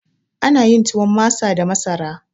Ana yin tuwon masa da masara